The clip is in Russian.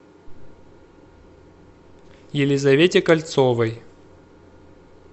елизавете кольцовой